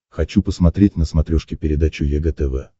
хочу посмотреть на смотрешке передачу егэ тв